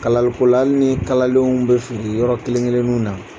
Kalalikola hali ni kalalenw bɛ fili yɔrɔ kelenkelenninw na